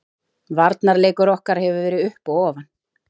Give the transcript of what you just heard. Varnarleikur okkar hefur verið upp og ofan.